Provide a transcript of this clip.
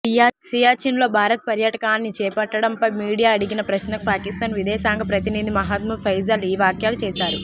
సియాచిన్లో భారత్ పర్యాటకాన్ని చేపట్టడంపై మీడియా అడిగిన ప్రశ్నకు పాకిస్థాన్ విదేశాంగ ప్రతినిధి మహ్మద్ ఫైజల్ ఈ వ్యాఖ్యలు చేశారు